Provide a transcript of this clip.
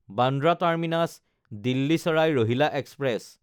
Bandra টাৰ্মিনাছ–দিল্লী চাৰাই ৰ'হিলা express